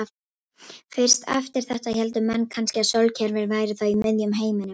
Fyrst eftir þetta héldu menn kannski að sólkerfið væri þá í miðjum heiminum.